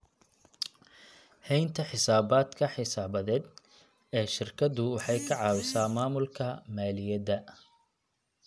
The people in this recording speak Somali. Haynta xisaabaadka xisaabeed ee shirkadu waxay ka caawisaa maamulka maaliyadda.